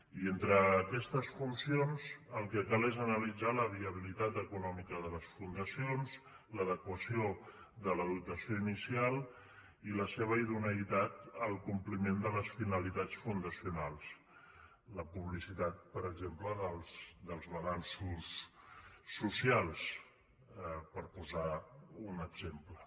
i entre aquestes funcions el que cal és analitzar la viabilitat econòmica de les fundacions l’adequació de la dotació inicial i la seva idoneïtat al compliment de les finalitats fundacionals la publicitat per exemple dels balanços socials per posar ne un exemple